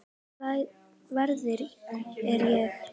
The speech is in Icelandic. Hvers virði er ég?